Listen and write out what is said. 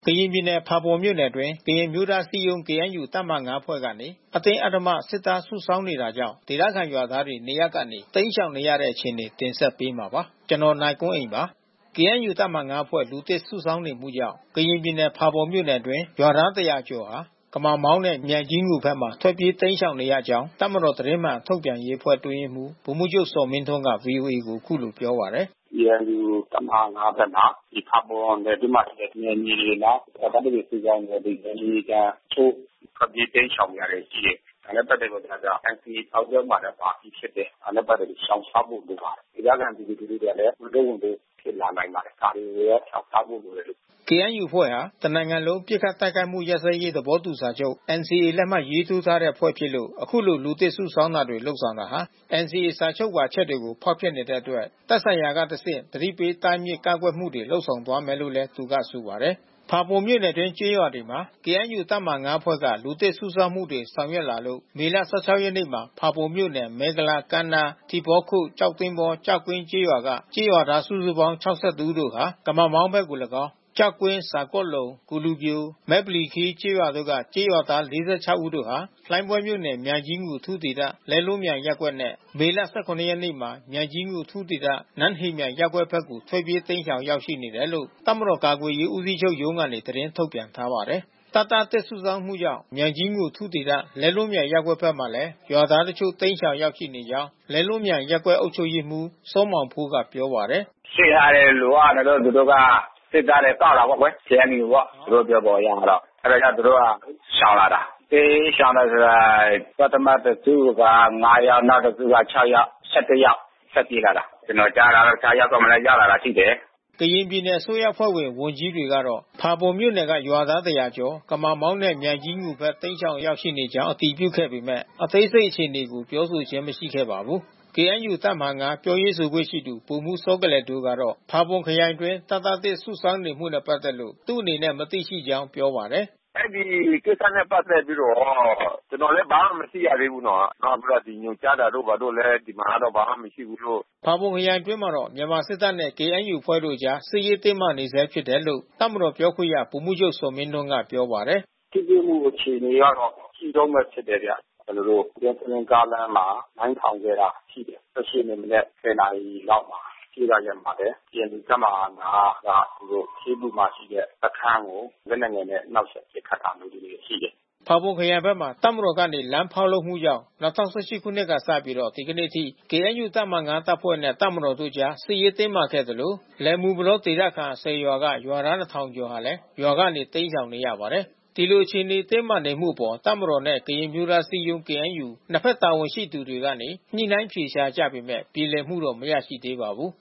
ကရင်ပြည်နယ် ဖာပွန်မြို့နယ်အတွင်း ကရင်အမျိုးသားအစည်းအရုံး KNU တပ်မဟာ(၅)အဖွဲ့ကနေ အတင်းအဓမ္မ စစ်သားစုဆောင်းနေတာကြောင့် ဒေသခံရွာသားတွေ နေရပ်ကနေတိမ်းရှောင်နေရတဲ့ အခြေအနေတွေကို နိုင်ကွန်းအိန် တင်ဆက်ပေးမှာပါ။ KNUတပ်မဟာ(၅)အဖွဲ့ လူသစ်စုဆောင်းမှုကြောင့် ကရင်ပြည်နယ်၊ ဖာပွန်မြို့နယ်အတွင်း ရွာသား ၁၀၀ ကျော် ကမာမောင်းနဲ့ မြိုင်ကြီးငူဘက် ထွက်ပြေးတိမ်းရှောင်နေရကြောင်း တပ်မတော်သတင်းမှန်ထုတ်ပြန်ရေးအဖွဲ့အတွင်းရေးမှူး ဗိုလ်မှူးချုပ်ဇော်မင်းထွန်းက ဗွီအိုအေကို အခုလိုပြောပါတယ်။ “KNU တပ်မဟာ(၅)ဖက်မှာ ဒီဖါပွန်နယ်အတွင်းမှာရှိတဲ့နယ်မြေတွေမှာ တပ်သားသစ်တွေ စုဆောင်းနေတဲ့အတွက် နယ်မြေခံတချို့ ထွက်ပြေးတိမ်းရှောင်နေရတာရှိတယ်။ ဒါနဲ့ပက်သက်ပြီးတော့က NCAစာချုပ်ထဲမှာပါပြီးဖြစ်တယ်။ ဒါနဲ့ပက်သက်ပြီးတော့ရှောင်ရှားဖို့လိုပါတယ်။ ဒေသခံပြည်သူလူထူအတွက်လဲ ဝန်ထုတ်ဝန်ပိုးဖြစ်လာနိုင်ပါတယ်။ ဒါတွေကို ရှောင်ရှားဖို့လိုတယ်လို့။” KNUအဖွဲ့ဟာ တစ်နိုင်ငံလုံးပစ်ခတ်တိုက်ခိုက်မှုရပ်စဲရေးသဘောတူစာချုပ် (NCA) လက်မှတ်ရေးထိုးထားတဲ့အဖွဲ့ ဖြစ်လို့ ယခုလို လူသစ် စုဆောင်းမှုတွေဆောင်ရွက်တာဟာ NCA စာချုပ်ပါအချက်တွေကို ဖောက်ဖျက်နေတဲ့ အတွက် သက်ဆိုင်ရာမှတစ်ဆင့် သတိပေးတားမြစ်ကန့်ကွက်ဆောင်ရွက်သွားမယ်လို့သူက ဆိုပါတယ်။ ဖာပွန်မြို့နယ်အတွင်းကျေးရွာတွေမှာ KNUတပ်မဟာ(၅) အဖွဲ့က လူသစ်စုဆောင်းမှုတွေဆောင်ရွက်လာလို့ မေ ၁၆ ရက်မှာ ဖါးပွန်မြို့နယ် ၊မဲကုလား ၊ကမ်းနား ၊ထီးဘောခို့ ၊ ကျောက်သင်္ဘော၊ ကျောက်ကွင်း ကျေးရွာက ကျေးရွာသား စုစုပေါင်း ၆၁ ဦးတို့ဟာ ကမမောင်းမြို့ဘက်ကို လည်းကောင်း၊ ကျောက်ကွင်း ၊ဇာကော့လုံ ၊ကိုလူပျို ၊မဲပလီခီး ကျေးရွာ တု့ိက ကျေးရွာသား ၄၆ ဦးတို့ဟာ လှိုင်းဘွဲမြို့နယ်၊ မြိုင်ကြီးငူအထူးဒေသ၊ လဲလွန်းမြိုင်ရပ်ကွက်နဲ့ မေ ၁၇ ရက်မှာ မြိုင်ကြီးငူ အထူးဒေသ၊ နန်းဟေမြိုင်ရပ်ကွက်ဘက်ကို ထွက်ပြေးတိမ်းရှောင်ရောက်ရှိနေတယ်လို့ တပ်မတော် ကာကွယ်ရေး ဦးးစီးချုပ်ရုံးကနေ သတင်းထုတ်ပြန်ထားပါတယ်။ တပ်သားသစ်စုဆောင်းမှုကြောင့် မြိုင်ကြီးငူအထူးဒေသ၊ လဲလွန်းမြိုင် ရပ်ကွက်ဖက်မှာ ရွာသားတချို့ တိမ်းရှောင် ရောက်ရှိနေကြောင်း လဲလွန်းမြိုင် ရပ်ကွက်အုပ်ချုပ်ရေးမှူး စောမောင်ဖိုး ကပြောပါတယ်။ “စစ်အင်အားတွေ လိုအပ်နေလို့သူတို့က စစ်သားတွေကောက်တာပေါ့ကွယ်။ KNUပေါ့။ သူတို့ပြောပုံအရတော့။ အဲတာ ကြောင့်သူတို့က ရှောင်လာတာ။ တိမ်းရှောင်တယ်ဆိုတာ ပထမတစုက(၅)ယောက် နောက်တစုက(၆)ယောက်။ (၁၁) ယောက်ထွက်ပြေးလာတာ။ ကျွန်တော်ကြားတာတော့တခြား ရပ်ကွက်မာရောက်လာတာလဲရှိတယ်။” ကရင်ပြည်နယ်အစိုးရအဖွဲ့ဝင်ဝန်ကြီးတွေကတော့ ဖါးပွန်မြို့နယ်ကရွာသားတရာကျော် ကမာမောင်းနဲ့ မြိုင်ကြီးငူဖက် တိမ်းရှောင်ရောက်ရှိ နေကြောင်းအတည်ပြုခဲ့ပေမဲ့ အသေးစိတ်အခြေအနေကိုပြောဆိုခြင်းမရှိခဲ့ပါဘူူး။ KNU တပ်မဟာ(၅)ပြောရေးဆိုခွင့်ရှိသူ ဗိုလ်မှူးစောကလယ်ဒိုကတော့ ဖါးပွန်ခရိုင်အတွင်း တပ်သားသစ်စုဆောင်း နေမှုနဲ့ ပက်သက်လို့ သူ့အနေနဲ့မသိရှိကြောင်းပြောပါတယ်။ “အဲဒီကိစ္စနဲ့ပက်သက်ပြီးတော့ ကျွန်တော်လဲ ဘာမှမသိရသေးဘူးနော်။ နောက်ပြီးတော့ ညွှန်ကြားတာတို့ဘာတို့လဲ ဒီမှာတော့ ဘာမှမရှိဘူးလို့။ ဖါပွန်ခရိုင်အတွင်းမှာတော့ မြန်မာစစ်တပ်နဲ့KNUအဖွဲ့တို့အကြား စစ်ရေးတင်းမာနေဆဲဖြစ်တယ်လို့ တပ်မတော် ပြောခွင့်ရ ဗိုလ်မှူးချုပ်ဇော်မင်းထွန်းက ပြော ပါတယ်။ “ထိတွေ့မှုအခြေအနေက ရှိတုန်းဘဲဖြစ်တယ်ဗျ။ ကျွန်တော်တို့ယွန်းစလင်းကားလမ်းမှာ မိုင်းထောင်ခဲ့တာရှိတယ်။ (၁၈)ရက်နေ့မနက်(၁၀)နာရီလောက်မှာ။ ရှေ့တရက်မှာလဲ KNUတပ်မဟာ(၅)က ခေးပူမှာရှိတဲ့ စခန်းကို လက်နက် ငယ်နဲ့ နှောက်ယှက်ပစ်ခတ်တာမျိုးတွေရှိတယ်။” ဖါးပွန်ခရိုင်ဘက်မှာ တပ်မတော်ကနေ လမ်းဖောက်လုပ်မှုကြောင့် ၂၀၁၈ခုနှစ်ကစပြီး ဒီကနေ့အထိ KNUတပ်မဟာ(၅) တပ်ဖွဲ့နဲ့ တပ်မတော်အကြား စစ်ရေးတင်းမာခဲ့သလို လယ်မူပလောဒေသခံ(၁၀)ရွာက ရွာသား (၂၀၀၀)ကျော် ရွာကနေ တိမ်းရှောင်နေရပါတယ်။ ဒီလိုအခြေအနေတင်းမာနေမှုအပေါ် တပ်မတော်နဲ့ကရင်အမျိုးသားအစည်းအရုံး KNUနှစ်ဘက်တာဝန်ရှိသူတွေကနေ ညှိနှိုင်းအဖြေရှာကြပေမဲ့ ပြေလည်မှုမရရှိသေးပါဘူး